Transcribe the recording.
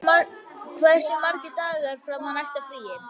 Hofdís, hversu margir dagar fram að næsta fríi?